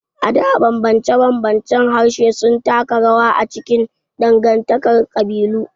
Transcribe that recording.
A da, ɓamɓance-ɓamɓancen harshe sun taka rawa a cikin dangantakar kabilu.